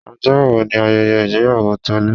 Ọjọ́ wo ni ayẹyẹ ìgbéyàwó Tolu?